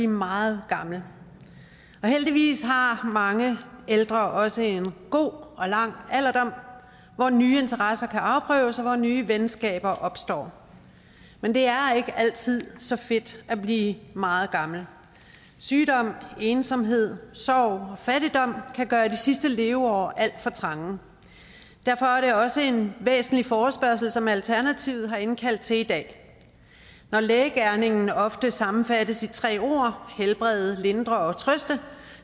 meget gammel og heldigvis har har mange ældre også en god og lang alderdom hvor nye interesser kan afprøves og hvor nye venskaber opstår men det er ikke altid så fedt at blive meget gammel sygdom ensomhed sorg og fattigdom kan gøre de sidste leveår alt er for trange derfor er det også en væsentlig forespørgsel som alternativet har indkaldt til i dag når lægegerningen ofte sammenfattes i tre ord helbrede lindre og trøste